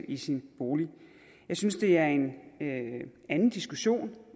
i sin bolig jeg synes det er en anden diskussion